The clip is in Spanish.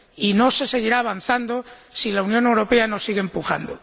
Y no se seguirá avanzando si la Unión Europea no sigue empujando.